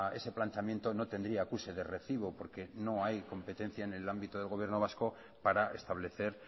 ese planteamiento no tendría acuse de recibo porque no hay competencia en el ámbito del gobierno vasco para establecer